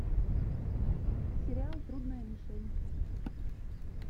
сериал трудная мишень